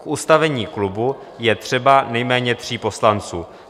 K ustavení klubu je třeba nejméně tří poslanců.